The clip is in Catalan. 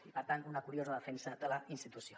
i per tant una curiosa defensa de la institució